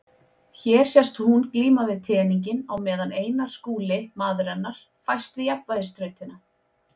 Hér sést hún glíma við teninginn á meðan Einar Skúli, maður hennar, fæst við jafnvægisþrautina.